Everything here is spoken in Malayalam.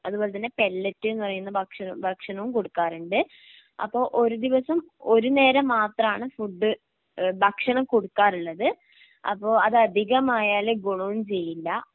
അതുപോലെതന്നെ പെല്ലറ്റ് എന്ന് പറയുന്ന ഭക്ഷണം ഭക്ഷണവും കൊടുക്കാറുണ്ട്. അപ്പൊ ഒരു ദിവസം ഒരു നേരം മാത്രമാണ് ഫുഡ് ഏഹ് ഭക്ഷണം കൊടുക്കാറുള്ളത് അപ്പോ അത് അധികമായാലും ഗുണവും ചെയ്യില്ല.